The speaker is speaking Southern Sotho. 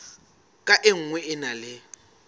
ka nngwe e na le